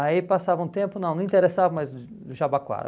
Aí passava um tempo, não, não interessava mais o o Jabaquara.